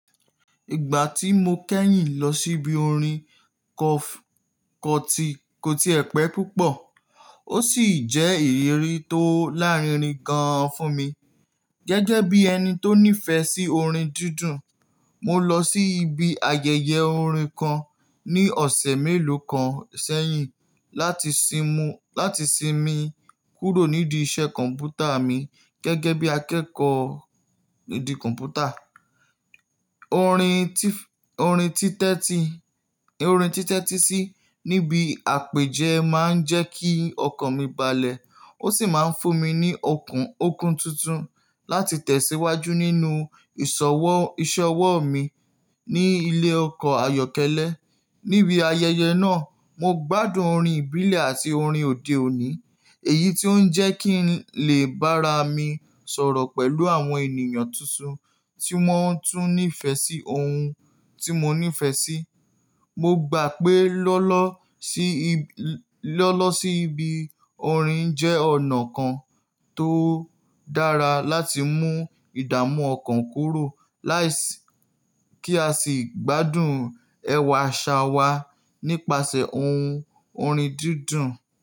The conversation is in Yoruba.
Ìgbà tí mo kẹ́yìn lọ síbi orin kọf-kọti, ko ti ẹ̀ pẹ̀ púpọ̀ ó sì jẹ́ ìrírí tó lárinrin gan-an fún mi. Gẹ́gẹ́ bí ẹni tó nífẹ̀ẹ́ sí orin dídùn, mo lọ sí ibi ayẹyẹ orin kan ní ọ̀sẹ̀ mélòó kan sẹ́yìn láti simú-láti sinmi kúrò nídìí iṣẹ́ kọ̀m̀pútà mi gẹ́gẹ́ bí akẹ́kọ̀ọ́ nídìí kọ̀m̀pútà. Orin títẹ́ti -orin títẹ́tísí níbi àpèjẹ máa ń jẹ́ kí ọkàn mi balẹ̀ ó sì máa ń fún mi ní okun-okun tuntun láti tẹ̀síwájú nínú ìṣọwọ́-ìṣe ọwọ́ mi ní ilé ẹ̀kọ́ Ayọ̀kẹ́lẹ́. Níbi ayẹyẹ náà, mo gbádùn orin ìbílẹ̀ àti orin òde òní, èyí tó ń jẹ́ kí n lè bára mi sọ̀rọ̀ pẹ̀lú àwọn ènìyàn tuntun tí wọ́n tún nífẹ̀ẹ́ sí ohun tí mo nífẹ̀ẹ́ sí. Mo gbà pé lọ́lọ́ sí ib- lọ́lọ́ sí ibi orin jẹ́ ọ̀nà kan tó dára láti mú ìdààmú ọkàn kúrò láìsí kí a sì gbádùn ẹwà àṣà wa nípasẹ̀ ohun orin dídùn.